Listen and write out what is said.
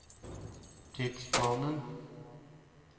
tidsplanen